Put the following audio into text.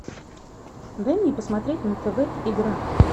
дай мне посмотреть на тв игра